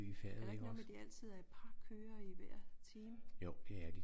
Er der ikke noget med at de altid er et par kørere i hver time?